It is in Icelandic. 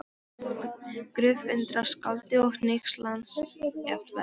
Gröf- undrast skáldið og hneykslast jafnvel